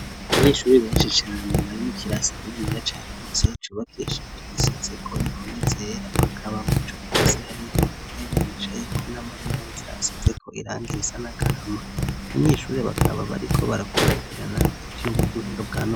Abanyeshuri benshi cane bari mu kirasi kinine yacagutse cubakishij igiseze ko impome zera bakaba mu ico kirasi hari yo intebe bicaye ko n'amameza asizeko irangi risa n'agahama abanyeshuri bakaba bari ko barakurikirana icuma cuhinga bwanone.